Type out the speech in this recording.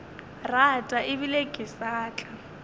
rata ebile ke sa tla